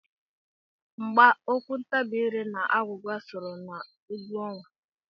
Mgba, okwu ntabi ire na agwụgwa sooro na egwu ọnwa.